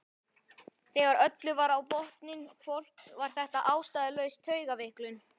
Þegar öllu var á botninn hvolft var þetta ástæðulaus taugaveiklun.